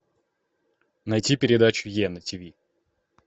найти передачу е на тиви